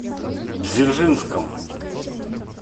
дзержинском